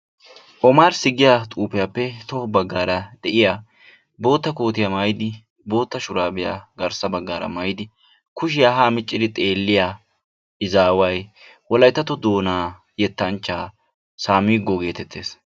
Omarssi giyaa xufiyappe tohossa baggara bootta kootiyaa mayyidi bootta shurabbiya garissa baggaara mayyidi kushiyaa ha miccidi xeelliya izaway Wolayttatto Doona yettanchchaa Saamigoo getettees.